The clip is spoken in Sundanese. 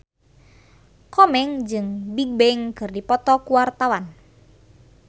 Komeng jeung Bigbang keur dipoto ku wartawan